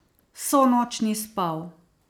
Vso noč ni spal.